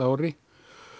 ári